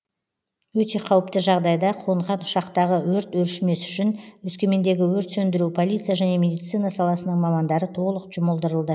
өте қауіпті жағдайда қонған ұшақтағы өрт өршімес үшін өскемендегі өрт сөндіру полиция және медицина саласының мамандары толық жұмылдырылды